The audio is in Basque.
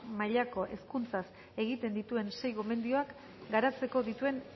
mailako hezkuntzaz egiten dituen sei gomendioak garatzeko dituen